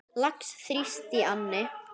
Lax þrífst í anni.